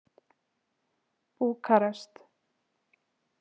Búkarest